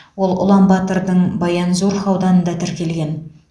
ол ұланбатырдың баянзурх ауданында тіркелген